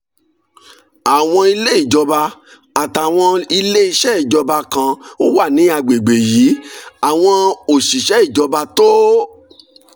àwọn ilé ìjọba àtàwọn ilé iṣẹ́ ìjọba kan wà ní àgbègbè yìí àwọn òṣìṣẹ́ ìjọba tó